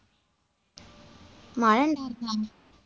മഴയുണ്ടായിരുന്നോ?